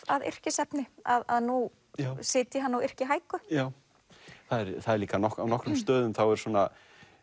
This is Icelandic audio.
að yrkisefni að nú sitji hann og yrki já það er líka á nokkrum stöðum þá eru svona